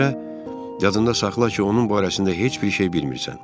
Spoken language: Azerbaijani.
yadında saxla ki, onun barəsində heç bir şey bilmirsən.